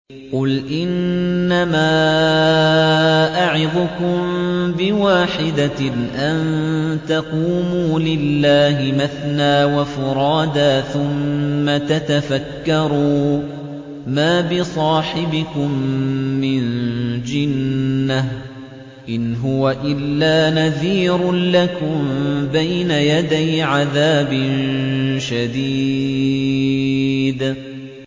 ۞ قُلْ إِنَّمَا أَعِظُكُم بِوَاحِدَةٍ ۖ أَن تَقُومُوا لِلَّهِ مَثْنَىٰ وَفُرَادَىٰ ثُمَّ تَتَفَكَّرُوا ۚ مَا بِصَاحِبِكُم مِّن جِنَّةٍ ۚ إِنْ هُوَ إِلَّا نَذِيرٌ لَّكُم بَيْنَ يَدَيْ عَذَابٍ شَدِيدٍ